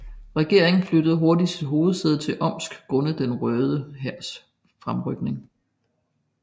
Regeringen flyttede hurtigt sit hovedsæde til Omsk grundet Den Røde Hærs fremrykning